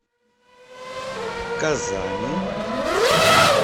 казани